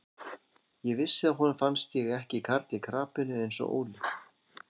Ég vissi að honum fannst ég ekki karl í krapinu eins og Óli.